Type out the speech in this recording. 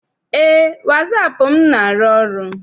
Eé, wasaapụ m na- arụ ọrụ.